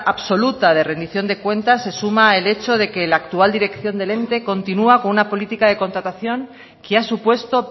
absoluta de remisión de cuentas se suma el hecho de que la actual dirección del ente continua con una política de contratación que ha supuesto